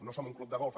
no som un club de golf